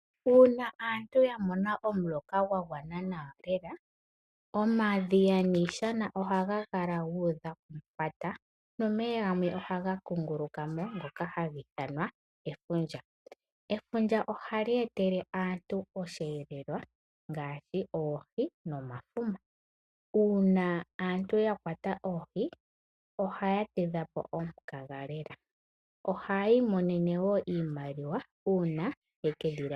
Uuna aantu ya mona omuloka gwa gwana nawa lela omadhiya niishana ohaga Kala guudha komufwata nomeya ohaga kunguluka mo ngoka haga ithanwa efundja. Efundja ohali etele aantu osheelelwa ngaashi oohi nomafuma. Uuna aantu ya kwata oohi ohaya tidha po omukaga lela, ohaya imonene wo iimaliwa uuna yekedhi landitha po.